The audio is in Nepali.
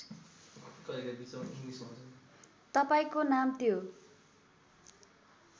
तपाईँको नाम त्यो